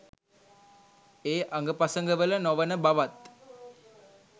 ඒ අඟපසඟවල නොවන බවත්